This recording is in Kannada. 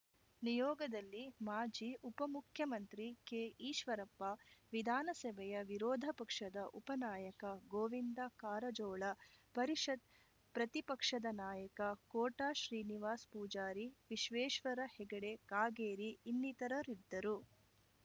ನಿಯೋಗದಲ್ಲಿ ಮಾಜಿ ಉಪಮುಖ್ಯಮಂತ್ರಿ ಕೆಈಶ್ವರಪ್ಪ ವಿಧಾನಸಭೆಯ ವಿರೋಧ ಪಕ್ಷದ ಉಪನಾಯಕ ಗೋವಿಂದ ಕಾರಜೋಳ ಪರಿಷತ್‌ ಪ್ರತಿಪಕ್ಷದ ನಾಯಕ ಕೋಟಾ ಶ್ರೀನಿವಾಸ್‌ ಪೂಜಾರಿ ವಿಶ್ವೇಶ್ವರ ಹೆಗಡೆ ಕಾಗೇರಿ ಇನ್ನಿತರರಿದ್ದರು